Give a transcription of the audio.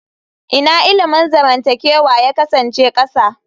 Ina ilimin zamantakewa ya kasance ƙasa?